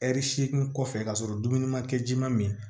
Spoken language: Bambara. Ɛri seegin kɔfɛ ka sɔrɔ dumuni ma kɛ ji ma min